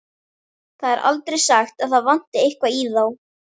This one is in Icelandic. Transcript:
Það er aldrei sagt að það vanti eitthvað í þá.